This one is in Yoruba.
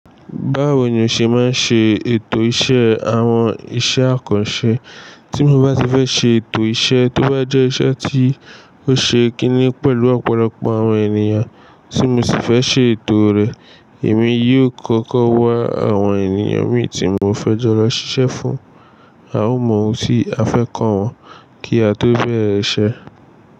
Báwo ni o ṣe máa ń ṣe ètò iṣẹ́ àwọn iṣẹ́ àkànṣe? Tí mo bá ti fẹ́ ṣe ètò iṣẹ́ tó bá jẹ́ iṣẹ́ tí ó ṣe kíni pẹ̀lú ọ̀pọ̀lọpọ̀ àwọn ènìyàn, tí mo sì fẹ́ ṣe ètò rẹ̀, èmi yóò kọ́kọ́ wá àwọn ènìyàn mi tí mo fẹ́ jọ lọ ṣiṣẹ́ fún, a ó mọ ohun tí a fẹ́ kọ́ wọn kí a tó bẹ̀rẹ̀ iṣẹ́.